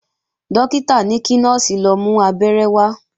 Dókítà ní kí Nọ́ọ̀sì lọ mú Abẹ́rẹ́ wá